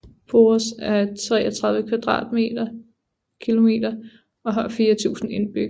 Poros er 33 km² og har 4000 indbyggere